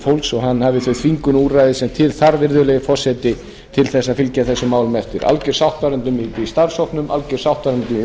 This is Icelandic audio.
fólks og hann hafði þau þvingunarúrræði sem til þarf virðulegi forseti til þess að fylgja þessum málum eftir í starfshópnum alger sátt varð í